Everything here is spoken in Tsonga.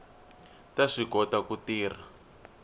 ta swi kota ku tirha